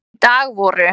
Í dag voru